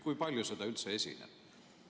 Kui palju seda üldse esineb?